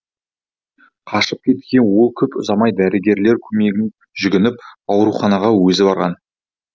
қашып кеткен ол көп ұзамай дәрігерлер көмегіне жүгініп ауруханаға өзі барған